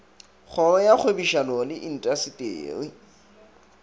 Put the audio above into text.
kgoro ya kgwebišano le intaseteri